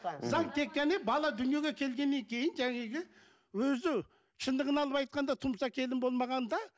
заң тек қана бала дүниеге келгеннен кейін жаңағы өзі шындығын алып айтқанда тұмса келін болмағанда